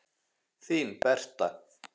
Þín Berta.